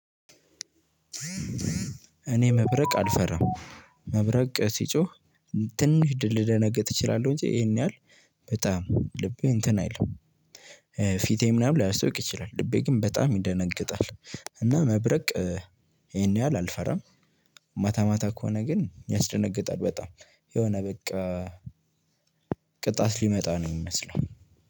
እኔ መብረቅ አልፈራም መብረቅ ሲጮህ ትንሽ ልደነግጥ እችላለሁ እንጂ ይሄን ያህል በጣም ልቤ እንትን አይልም ፊቴ ምናምን ላያስታውቅ ይችላል ልቤ ግን በጣም ይደነግጣል። እና መብረቅ ይሄን ያህል አልፈራም። ማታ ማታ ከሆነ ግን ያስደነግጣል በጣም የሆነ በቃ። ቅጣት ሊመጣ ነው የሚመስለው።